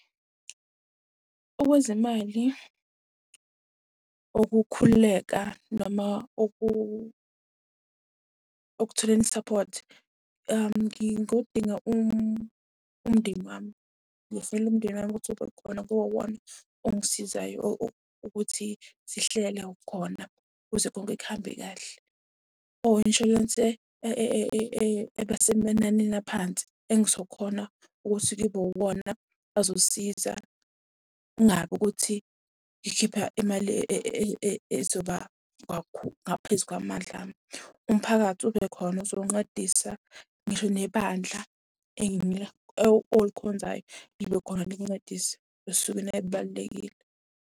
Okwezimali, okukhululeka noma okutholeni isaphothi. Ngingodinga umndeni wami, ngizofonela umndeni wami ukuthi kube khona kube iwona ongisizayo ukuthi sihlele khona kuze konke kuhambe kahle. Or inshwalensi eba semananeni aphansi engizokhona ukuthi kube iwona azosisiza. Kungabi ukuthi ngikhipha imali ezoba ngaphezu kwamandla ami. Umphakathi ube khona uzoncedisa, ngisho nebandla olikhonzayo libe khona likuncediise esukwini elibalulekile.